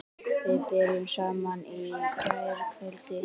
Við byrjuðum saman í gærkvöld.